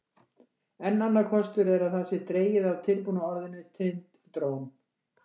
Enn annar kostur er að það sé dregið af tilbúna orðinu Tind-trón.